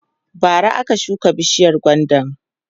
bara aka shuka bishiyar gwandan